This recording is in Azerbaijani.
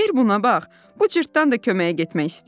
"Bir buna bax, bu cırtdan da köməyə getmək istəyir.